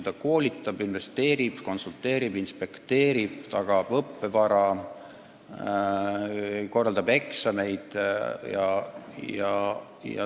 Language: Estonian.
Ta koolitab, investeerib, konsulteerib, inspekteerib, tagab õppevara, korraldab eksameid ...